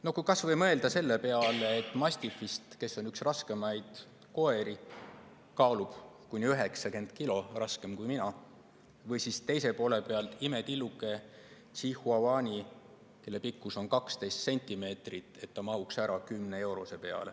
No kui mõelda kas või mastifi peale, kes on üks raskeimaid koeri – kaalub kuni 90 kilo, on raskem kui mina –, või siis teise poole pealt imetilluke chihuahua, kelle pikkus on 12 cm ja kes mahuks ära 10-eurose peale.